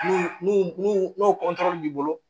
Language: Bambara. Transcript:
N'u n'u n'u n'u b'i bolo